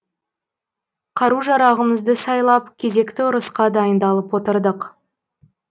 қару жарағымызды сайлап кезекті ұрысқа дайындалып отырдық